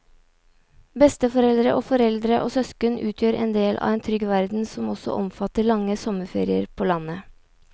Besteforeldre og foreldre og søsken utgjør en del av en trygg verden som også omfatter lange sommerferier på landet.